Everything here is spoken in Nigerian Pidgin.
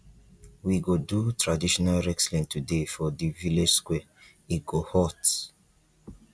we go do traditional wrestling today for di village square e go hot